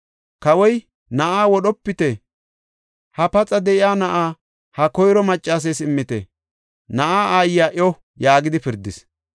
Kawoy, “Na7aa wodhopite; ha paxa de7iya na7aa ha koyro maccasees immite; na7aa aayiya iyo” yaagidi pirdis.